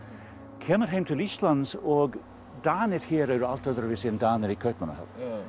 kemur heim til Íslands og Danir hér eru allt öðruvísi en Danir í Kaupmannahöfn